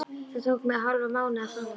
Það tók mig hálfan mánuð að fá hann.